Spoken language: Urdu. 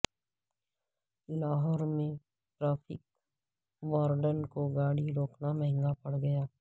لاہور میں ٹریفک وارڈن کو گاڑی روکنا مہنگا پڑ گیا